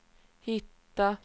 hitta